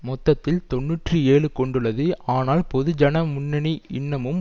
மொத்தத்தில் தொன்னூற்றி ஏழு கொண்டுள்ளது ஆனால் பொதுஜன முன்னணி இன்னமும்